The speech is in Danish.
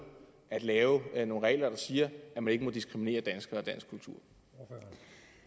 at lave nogle regler der siger at man ikke må diskriminere danskere